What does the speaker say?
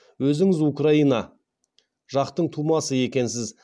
өзіңіз украина жақтың тумасы екенсіз